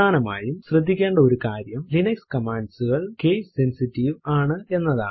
പ്രധാനമായും ശ്രദ്ധിക്കേണ്ട ഒരു കാര്യം ലിനക്സ് കമാൻഡ്സ് കൾ കേസ് സെൻസിറ്റീവ് ആണ് എന്നതാണ്